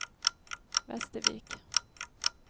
Västervik